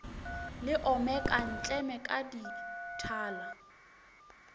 le omeka ntleme ka dithala